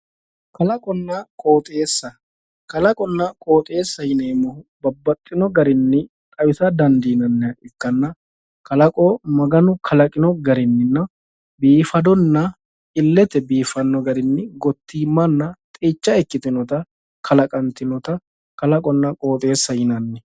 Kalaqonna qooxeessaho yineemmohu babbaxxino garinni xawisa dandiinanniha ikkanna kalaqo maganu kalaqino garinninna biifadonna illete biifanno garinni gottiimanna xeicha ikkitinota kalaqantinota kalaqonna qooxeessa yinanni